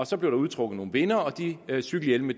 så blev der udtrukket nogle vindere og de cykelhjelme